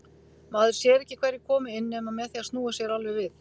Maður sér ekki hverjir koma inn nema með því að snúa sér alveg við.